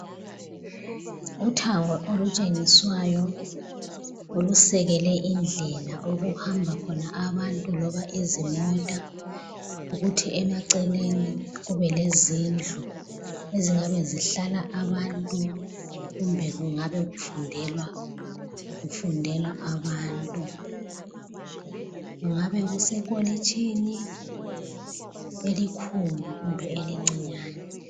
Uthango olutshengiswayo olusekele indlela okuhamba khona abantu loba izimota, kuthi emaceleni kube lezindlu ezingabe zihlala abantu kumbe kungabe kufundela kufundela abantu kungabe kusekolitshini elikhulu kumbe elincinyane.